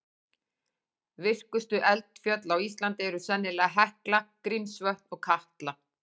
Virkustu eldfjöll á Íslandi eru sennilega Hekla, Grímsvötn og Katla.